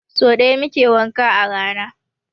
So ɗaya muke wanka a rana.